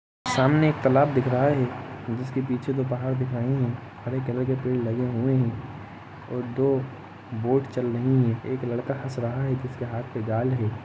सामने एक तालाब दिख रहा है जिसके पीछे दो पहाड़ दिखाई है हरे कलर के पेड़ लगे हुए है और दो बोट चल रही है एक लड़का हस रहा है जिसके हाथ मे जाल हैं।